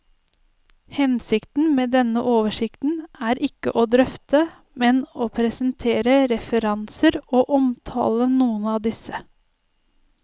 Hensikten med denne oversikten er ikke å drøfte, men å presentere referanser og omtale noen av disse.